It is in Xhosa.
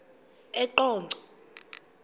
eqonco